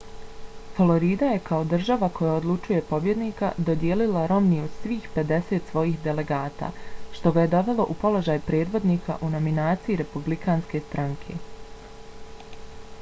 florida je kao država koja odlučuje pobjednika dodijelila romneyu svih pedeset svojih delegata što ga je dovelo u položaj predvodnika u nominaciji republikanske stranke